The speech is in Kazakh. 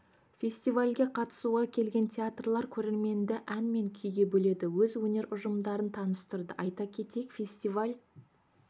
фестивальге қатысуға келген театрлар көрерменді ән мен күйге бөледі өз өнер ұжымдарын таныстырды айта кетейік фестиваль